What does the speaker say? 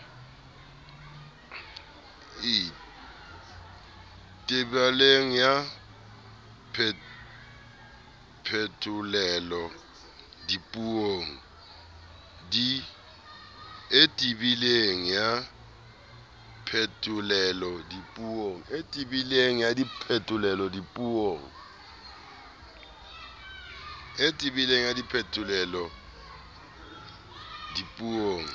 e tebileng ya phetolelo dipuong